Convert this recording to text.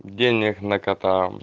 денег на кота